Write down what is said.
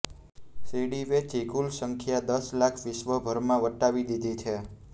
સીડી વેચી કુલ સંખ્યા દસ લાખ વિશ્વભરમાં વટાવી દીધી છે